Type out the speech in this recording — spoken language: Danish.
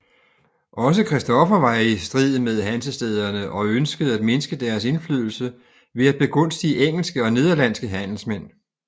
Også Christoffer var i strid med Hansestæderne og ønskede at mindske deres indflydelse ved at begunstige engelske og nederlandske handelsmænd